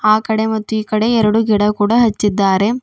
ಆ ಕಡೆ ಮತ್ತು ಈ ಕಡೆ ಎರಡು ಗಿಡ ಕೂಡ ಹಚ್ಚಿದ್ದಾರೆ.